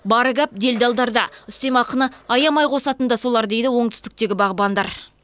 бар гәп делдалдарда үстемақыны аямай қосатын да солар дейді оңтүстіктегі бағбандар